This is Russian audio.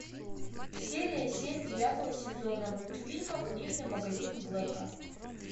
серия семь девятого сезона мультфильма книжный магазин блэка